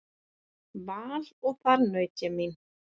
Val og þar naut ég mín.